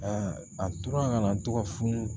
a tora kana to ka funu